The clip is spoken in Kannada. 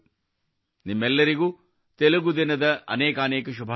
ನಿಮ್ಮೆಲ್ಲರಿಗೂ ತೆಲುಗು ದಿನದ ಅನೇಕಾನೇಕ ಶುಭಾಶಯಗಳು